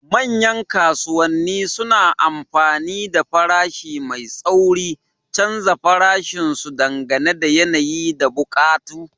Manyan kasuwanni suna amfani da farashi mai tsauri, canza farashin su dangane da yanayi da buƙatu.